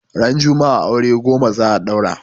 Ran juma'a aure goma za a daura